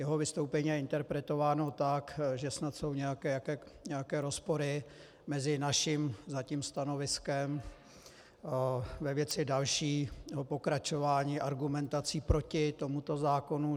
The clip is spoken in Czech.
Jeho vystoupení je interpretováno tak, že snad jsou nějaké rozpory mezi naším zatím stanoviskem ve věci dalšího pokračování argumentací proti tomuto zákonu.